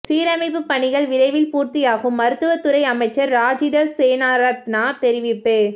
சீரமைப்பு பணிகள் விரைவில் பூர்த்தியாகும் மருத்துவத்துறை அமைச்சர் ராஜித சேனாரத்ன தெரிவிப்பு